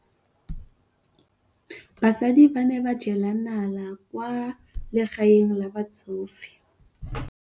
Basadi ba ne ba jela nala kwaa legaeng la batsofe.